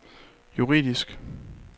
juridisk